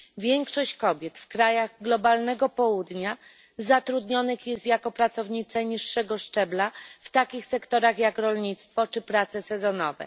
Większość kobiet w krajach globalnego Południa zatrudniona jest jako pracownice niższego szczebla w takich sektorach jak rolnictwo czy prace sezonowe.